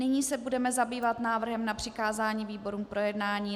Nyní se budeme zabývat návrhem na přikázání výborům k projednání.